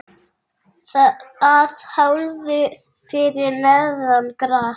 Að hálfu fyrir neðan gras.